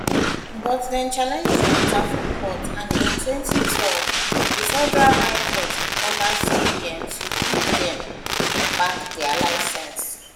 but dem challenge di matter for court and in 2012 di federal high court order cbn to to give dem back dia licence